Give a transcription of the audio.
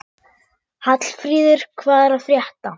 Hallfríður, hvað er að frétta?